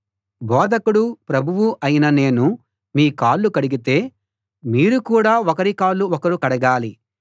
బోధకుడు ప్రభువు అయిన నేను మీ కాళ్ళు కడిగితే మీరు కూడా ఒకరి కాళ్ళు ఒకరు కడగాలి